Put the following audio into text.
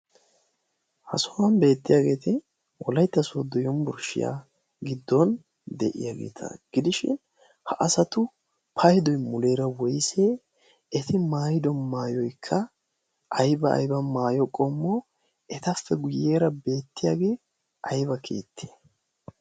ha sohuwan beettiyaageeti olaitta suwoddoyon burshshiyaa giddon de'iyaageeta gidishin ha asatu paydoy muleera woysee eti maayido maayoykka aiba aiba maayo qommo etappe guyyeera beettiyaagee ayba keitti